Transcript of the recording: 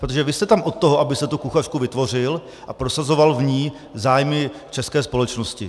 Protože vy jste tam od toho, abyste tu kuchařku vytvořil a prosazoval v ní zájmy české společnosti.